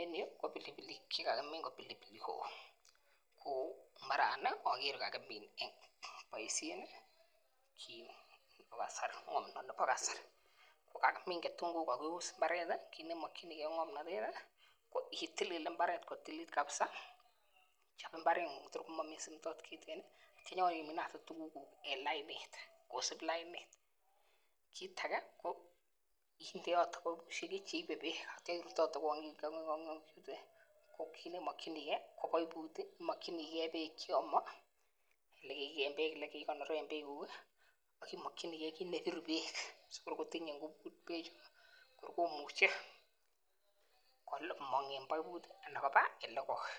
En yuu ko pilipilik chekakimin ko pilipili hoho ko mbarani okere kokakimin en boisiet Kasari ko kakimin ketunguik ak keus mbaret kit nemokyingee ko ng'omnotet itilil mbaret kotililit kabisa chob mbaret ng'ung kotor momii simto okot kiten ak inyon iminate tuguk kuk en lainit kosip lainit kit age ko indeote cheibe beek ak itya irutote kong'ik tuten ko kit nemokyingee ko poiput imokyinigee beek cheome elekiikonoren beek kuk ih ak imokyinigee kit nebiru beek sikor kotinye ngubut beek chu ko kor komuche komong en poiput anan koba elekoi